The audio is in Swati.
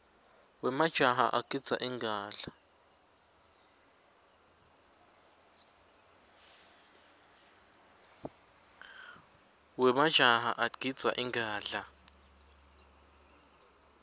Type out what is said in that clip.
wemajaha agidza ingadla